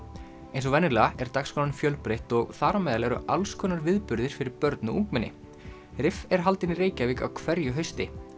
eins og venjulega er dagskráin fjölbreytt og þar á meðal eru alls konar viðburðir fyrir börn og ungmenni er haldin í Reykjavík á hverju hausti